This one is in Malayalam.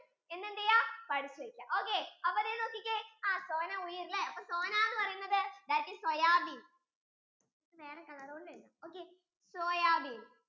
ഇന്ന് എന്ത് ചെയ്യാ പഠിച്ചെക്യ ഒക്കെ അപ്പൊ ദേ നോക്കിക്കേ sona അപ്പൊ sona എന്ന് പറയുന്നത് that is soyabean വേറെ colour കൊണ്ട് എഴുത്തു okay soyabean